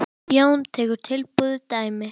Jón tekur tilbúið dæmi.